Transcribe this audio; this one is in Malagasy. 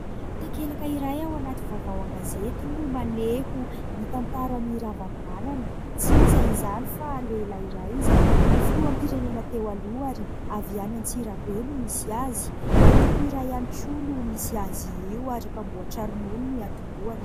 Takelaka iray ao anaty vaovao an-gazety no maneho ny tantaran'i Ravalomanana, tsy iza izany fa lehilahy iray izay filoham-pirenena teo aloha ary avy any Antsirabe no misy azy, antoko iray ihany koa no misy azy io ary mpanamboatra ronono no niatomboahany.